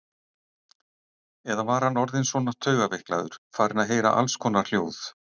Eða var hann orðinn svona taugaveiklaður, farinn að heyra allskonar hljóð?